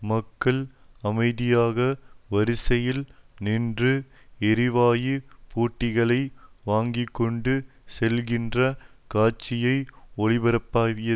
மக்கள் அமைதியாக வரிசையில் நின்று எரிவாயு புட்டிகளை வாங்கி கொண்டு செல்கின்ற காட்சியை ஒளிபரப்பியது